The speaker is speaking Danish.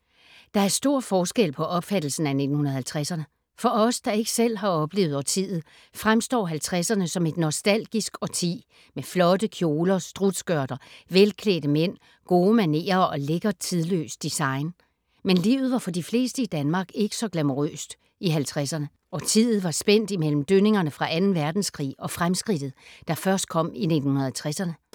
Der er stor forskel på opfattelsen af 1950’erne. For os, der ikke selv har oplevet årtiet, fremstår 50’erne som et nostalgisk årti med flotte kjoler, strutskørter, velklædte mænd, gode manerer og lækkert tidløst design. Men livet var for de fleste i Danmark ikke så glamourøst i 1950’erne. Årtiet var spændt imellem dønningerne fra anden verdenskrig og fremskridtet, der først kom i 1960’erne.